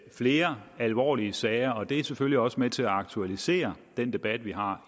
flere alvorlige sager og det er selvfølgelig også med til at aktualisere den debat vi har